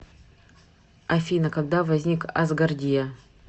афина когда возник асгардия